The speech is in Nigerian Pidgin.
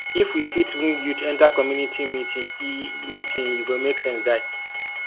if we fit bring youth enter community meeting e meeting e go make sense die